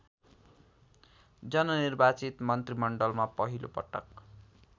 जननिर्वाचित मन्त्रीमण्डलमा पहिलोपटक